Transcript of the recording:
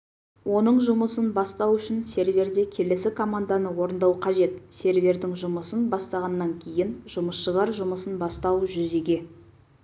оның жұмысын бастау үшін серверде келесі команданы орындау қажет сервердің жұмысын бастағаннан кейін жұмысшылар жұмысын бастау жүзеге